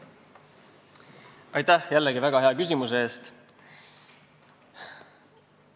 Aitäh jällegi väga hea küsimuse eest!